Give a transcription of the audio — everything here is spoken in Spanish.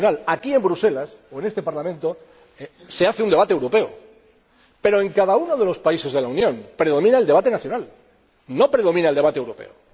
Aquí en Bruselas, o en este Parlamento, se celebra un debate europeo, pero en cada uno de los países de la Unión predomina el debate nacional, no predomina el debate europeo.